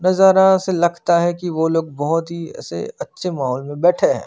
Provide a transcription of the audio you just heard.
नजारा से लगता है कि वो लोग बहोत ही ऐसे अच्छे माहोल में बेठे हैं।